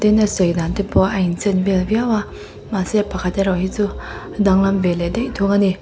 na sei dan te pawh a inchen vel viaua mahse pakhat erawh hi chu a danglam ve leh daih thung ani.